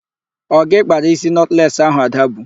Ọ gị kpara isi nọtles ahụ Ada bu?